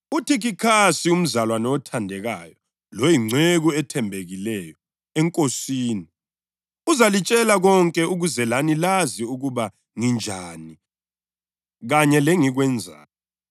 engingumeli walo ngibotshwe ngamaketane. Khulekani ukuba ngilitshumayele ngesibindi njengokumele ngikwenze. Ukuvalelisa